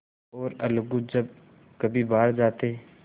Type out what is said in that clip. और अलगू जब कभी बाहर जाते